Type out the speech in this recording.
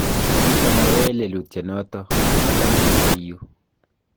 kitamayoe lelutienoto, kata mamite yu